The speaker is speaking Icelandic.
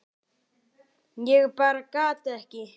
Ég bara gat ekki.